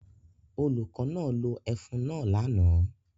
Olùkọ́ náà lo ẹfun náà lánàá